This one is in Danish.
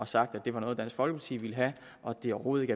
sagt at det var noget dansk folkeparti ville have og at det overhovedet